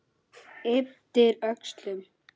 Ypptir öxlum.